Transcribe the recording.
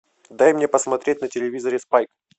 дай мне посмотреть на телевизоре спайк